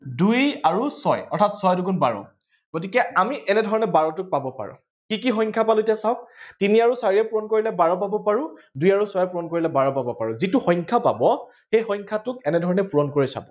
দুই আৰু ছয় অৰ্থাত ছয় দুগুণ বাৰ গতিকে আমি এনেধৰণে বাৰটোক পাব পাৰো। কি কি সংখ্য়া পালো এতিয়া চাওক তিনি আৰু চাৰিয়ে পূৰণ কৰিলে বাৰ পাব পাৰো দুই আৰু ছয় পূৰণ কৰিলে বাৰ পাব পাৰো। যিটো সংখ্যা পাব সেই সংখ্যাটোক এনেধৰণে পূৰণ কৰি চাব